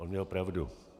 On měl pravdu.